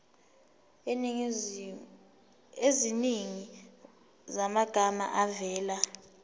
eziningi zamagama avela